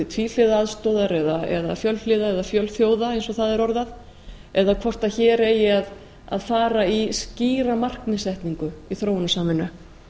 tvíhliða aðstoðar eða fjölhliða eða fjölþjóða eins og það er orðað eða hvort hér eigi að fara í skýra markmiðssetningu í þróunarsamvinnu